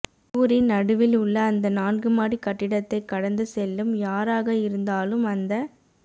ஊரின் நடுவில் உள்ள அந்த நான்கு மாடி கட்டிடத்தை கடந்து செல்லும் யாராக இருந்தாலும் அந்த